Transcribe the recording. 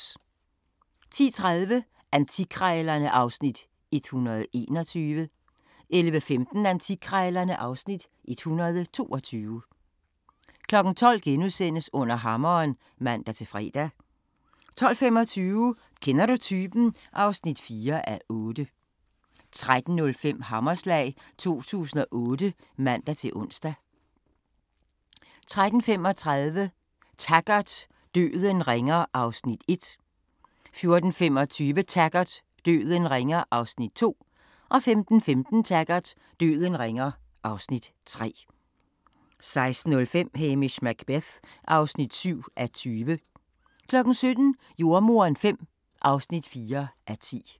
10:30: Antikkrejlerne (Afs. 121) 11:15: Antikkrejlerne (Afs. 122) 12:00: Under hammeren *(man-fre) 12:25: Kender du typen? (4:8) 13:05: Hammerslag 2008 (man-ons) 13:35: Taggart: Døden ringer (Afs. 1) 14:25: Taggart: Døden ringer (Afs. 2) 15:15: Taggart: Døden ringer (Afs. 3) 16:05: Hamish Macbeth (7:20) 17:00: Jordemoderen V (4:10)